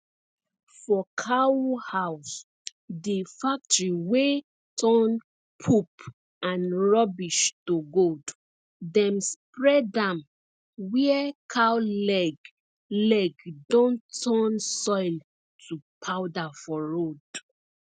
for cow house dey factory wey turn poop and rubbish to gold dem spread am where cow leg leg don turn soil to powder for road